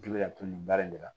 K'i be ka n to nin baara in de la